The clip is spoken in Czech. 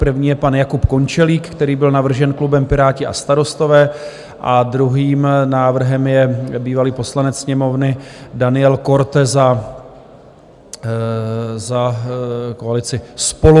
První je pan Jakub Končelík, který byl navržen klubem Piráti a starostové, a druhým návrhem je bývalý poslanec Sněmovny Daniel Korte za koalici SPOLU.